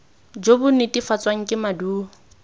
jo bo netefatswang ke maduo